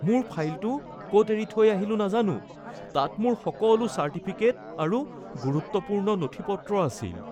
মোৰ ফাইলটো ক’ত এৰি থৈ আহিলোঁ নাজানো। তাত মোৰ সকলো চাৰ্টিফিকেট আৰু গুৰুত্বপূৰ্ণ নথি-পত্ৰ আছিল।